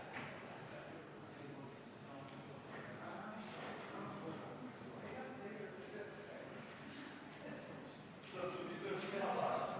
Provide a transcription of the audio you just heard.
Kõigepealt pannakse mööda ja siis pannakse veel hulk raha selle peale, et lasta iseendale selgeks teha, mida ja kuidas on mööda pandud.